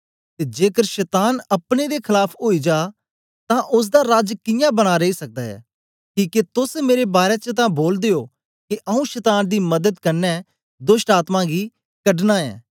ते जेकर शतान अपने दे खलाफ ओई जा तेतां ओसदा राज कियां बना रेई सकदा ऐ किके तोस मेरे बारै च तां बोलदे ओ के आऊँ शतान दी मदत कन्ने दोष्टआत्मायें कढना ऐं